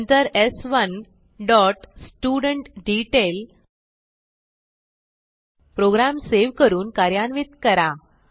नंतर स्1 dot student detail program save करून कार्यान्वित करा